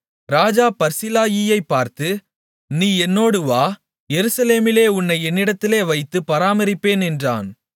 ராஜா பர்சிலாயியைப் பார்த்து நீ என்னோடு வா எருசலேமிலே உன்னை என்னிடத்திலே வைத்து பராமரிப்பேன் என்றான்